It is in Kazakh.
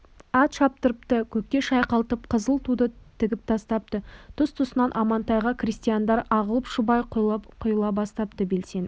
ат шаптырыпты көкке шайқалтып қызыл туды тігіп тастапты тұс-тұсынан амантайға крестьяндар ағылып шұбап құйыла бастапты белсеніп